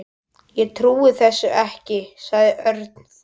Ég trúi þessu ekki sagði Örn fúll.